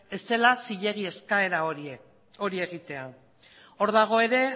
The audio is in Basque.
ez zela zilegi eskaera hori egitea hor dago ere